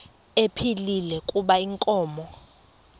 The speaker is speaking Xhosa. ephilile kuba inkomo